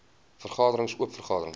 vergaderings oop vergaderings